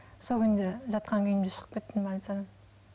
сол күйімде жатқан күйімде шығып кеттім больницадан